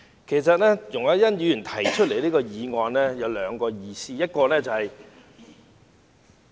其實，容海恩議員今天提出這項議案有兩個原因：第一......